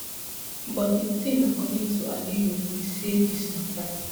but di tin according to aluyi be say dis mata